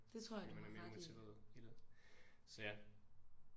Når man er mere motiveret i det så ja